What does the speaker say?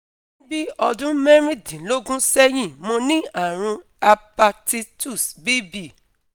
NI bi odun merindinlogun sehin mo ni arun hapititus B B